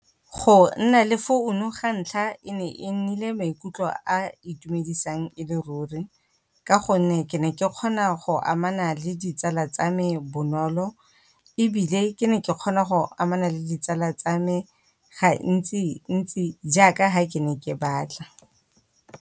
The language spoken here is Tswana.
Go nna le founu ga ntlha e ne e nnile maikutlo a itumedisang e le ruri, ka gonne ke ne ke kgona go amana le ditsala tsa me bonolo. Ebile ke ne ke kgona go amana le ditsala tsa me gantsi-ntsi jaaka fa ke ne ke batla.